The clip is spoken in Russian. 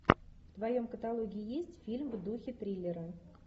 в твоем каталоге есть фильм в духе триллера